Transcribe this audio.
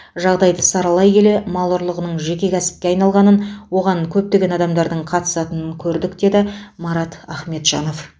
жағдайды саралай келе мал ұрлығының жеке кәсіпке айналғанын оған көптеген адамдардың қатысатынын көрдік деді марат ахметжанов